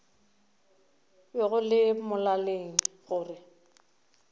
be go le molaleng gore